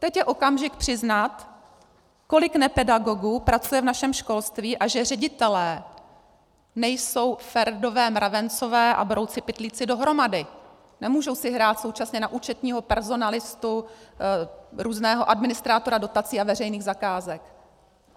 Teď je okamžik přiznat, kolik nepedagogů pracuje v našem školství a že ředitelé nejsou Ferdové mravencové a brouci Pytlíci dohromady, nemůžou si hrát současně na účetního, personalistu, různého administrátora dotací a veřejných zakázek.